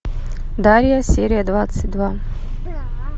дарья серия двадцать два